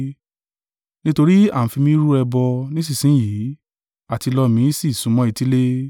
Nítorí à ń fi mi rú ẹbọ nísinsin yìí, àtilọ mi sì súnmọ́ etílé.